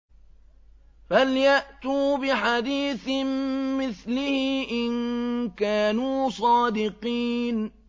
فَلْيَأْتُوا بِحَدِيثٍ مِّثْلِهِ إِن كَانُوا صَادِقِينَ